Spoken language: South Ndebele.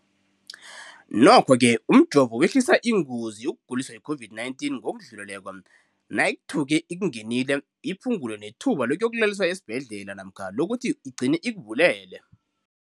Nokho-ke umjovo wehlisa ingozi yokuguliswa yi-COVID-19 ngokudluleleko, nayithuke ikungenile, iphu ngule nethuba lokuyokulaliswa esibhedlela namkha lokuthi igcine ikubulele.